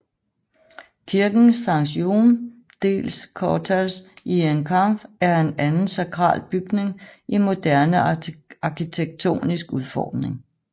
Kirken Sant Jaume dels Cortals i Encamp er en anden sakral bygning i moderne arkitektonisk udformning